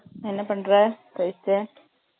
என்ன பண்ற Rohith